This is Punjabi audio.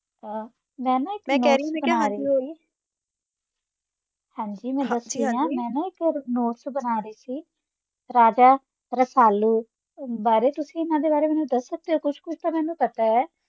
ਆਹ ਮੈਂ ਨਾ ਇੱਕ notes ਬਨਾ ਰਹੀ ਸੀ ਰਾਜਾ ਰਸਾਲੂ ਬਾਰੇ, ਤੁਸੀਂ ਇਹਨਾਂ ਦੇ ਬਾਰੇ ਮੈਨੂੰ ਦਸ ਸਕਦੇ ਹੋ ਕੁਝ? , ਕੁਛ ਤਾ ਮੇਨੂ ਪਤਾ ਹੈ